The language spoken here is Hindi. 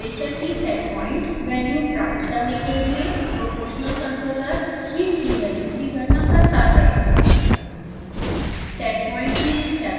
देखें कि temperature की setpoint वैल्यू प्राप्त करने के लिए proportional controller heat की वैल्यू की गणना करता है